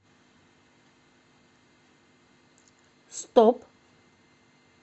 стоп